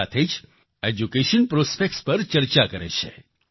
સાથે જ education prospect પર ચર્ચા કરે છે